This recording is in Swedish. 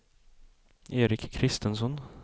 Eric Christensson